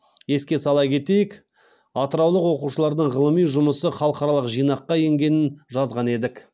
еске сала кетелік атыраулық оқушылардың ғылыми жұмысы халықаралық жинаққа енгенін жазған едік